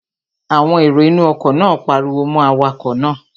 Àwọn èrò inú ọkọ̀ náà pariwo mọ́ awakọ̀ náà